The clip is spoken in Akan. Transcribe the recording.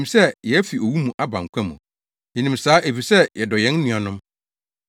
Yenim sɛ yɛafi owu mu aba nkwa mu. Yenim saa, efisɛ yɛdɔ yɛn nuanom.